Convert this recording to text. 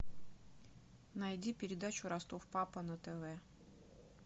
найди передачу ростов папа на тв